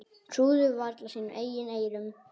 Trúðu varla sínum eigin eyrum.